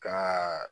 Ka